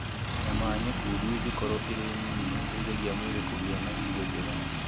Nyama nyekundu ĩngĩkorũo ĩrĩ nini nĩ ĩteithagia mwĩrĩ kũgĩa na irio njega.